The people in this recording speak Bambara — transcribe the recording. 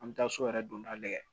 An bɛ taa so yɛrɛ donda la dɛ